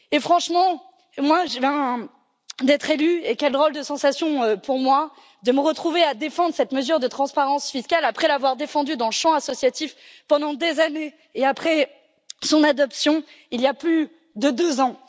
Franchement, je viens d'être élue et quelle drôle de sensation pour moi de me retrouver à défendre cette mesure de transparence fiscale après l'avoir défendue dans le champ associatif pendant des années et après son adoption, il y a plus de deux ans!